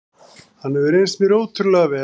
Hann hefur reynst mér ótrúlega vel.